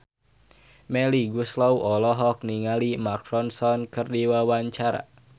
Melly Goeslaw olohok ningali Mark Ronson keur diwawancara